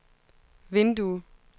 vindue